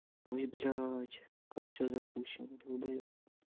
ой блядь как всё запущено долбоёб